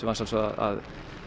að sjálfsögðu að